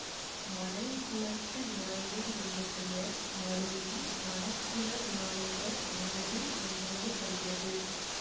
மணல் குளத்து விநாயகர் என்ற பெயர் மருவி மணக்குள விநாயகர் ஆனது என்றறியப்படுகிறது